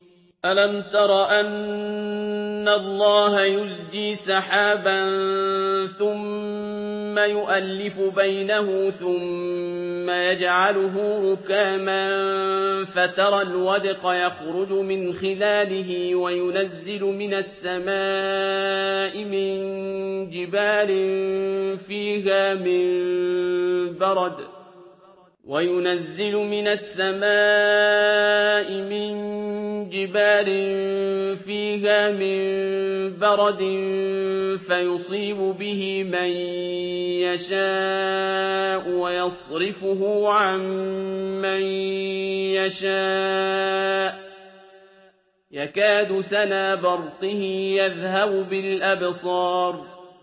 أَلَمْ تَرَ أَنَّ اللَّهَ يُزْجِي سَحَابًا ثُمَّ يُؤَلِّفُ بَيْنَهُ ثُمَّ يَجْعَلُهُ رُكَامًا فَتَرَى الْوَدْقَ يَخْرُجُ مِنْ خِلَالِهِ وَيُنَزِّلُ مِنَ السَّمَاءِ مِن جِبَالٍ فِيهَا مِن بَرَدٍ فَيُصِيبُ بِهِ مَن يَشَاءُ وَيَصْرِفُهُ عَن مَّن يَشَاءُ ۖ يَكَادُ سَنَا بَرْقِهِ يَذْهَبُ بِالْأَبْصَارِ